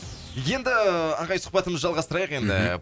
енді ағай сұхбатымызды жалғастырайық енді мхм